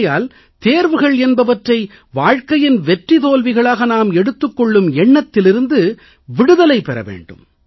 ஆகையால் தேர்வுகள் என்பவற்றை வாழ்க்கையின் வெற்றி தோல்விகளாக நாம் எடுத்துக் கொள்ளும் எண்ணத்திலிருந்து நாம் விடுதலை பெற வேண்டும்